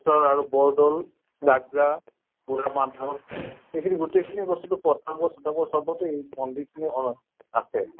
শ্বৰ আৰু বৰ দৌল লাগঝা বুঢ়া মাধৱ এইখিনি গোটেই খিনি বস্তুটো পতাবৰ চতাবৰ চবতে এই পন্ডিত নে আছে